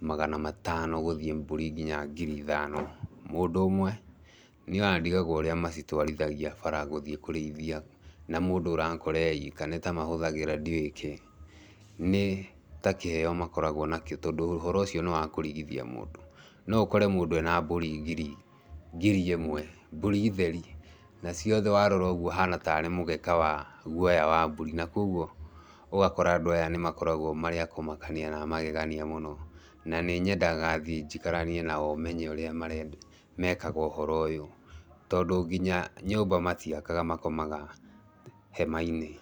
magana matano gũthiĩ mbũri nginya ngiri ithano mũndũ ũmwe. Niĩ ona nĩ ndĩgagwo ũrĩa macitwarithagia bara gũthiĩ kũrĩithia, na mũndũ ũrakora e ika nĩ ta mahũthagĩra ndiũĩ kĩĩ, nĩ ta kĩheo makoragwo nakĩo tondũ ũndũ ũcio nĩ wakũrigithia mũndũ. No ũkore mũndũ ena mbũri ngiri imwe mbũri theri, na ciothe warora ũgwo ihana tarĩ mũgeka wa guoya wa mbũri. Na koguo ũgakora andũ aya nĩ makoragwo marĩ a kũmakania na amagegania mũno. Na nĩ nyendaga thii njĩkaranie nao menye ũrĩa mekaga ũhoro ũyũ, tondũ nginya nyũmba matiakaga makomaga hema-inĩ.